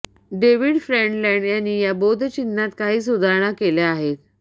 David Friendland यांनी या बोधचिह्नात काही सुधारणा केल्या आहेत